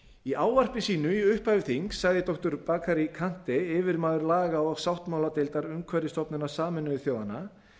í ávarpi sínu í upphafi þings sagði doktor bakary kante yfirmaður laga og sáttmáladeildar umhverfisstofnunar sameinuðu þjóðanna